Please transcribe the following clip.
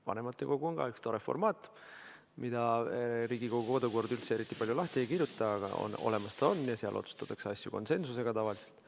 Vanematekogu on samuti üks tore formaat, mida Riigikogu kodukord üldse eriti palju lahti ei kirjuta, aga olemas ta on ja seal otsustatakse asju konsensusega tavaliselt.